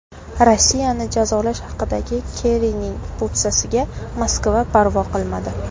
Rossiyani jazolash haqidagi Kerrining po‘pisasiga Moskva parvo qilmadi.